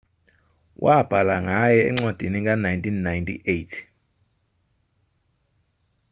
wabhala ngaye encwadini ka-1998